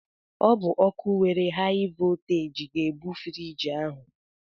Ọ bụ ọkụ nwere haị vọlteeji ga-ebu friiji ahụ.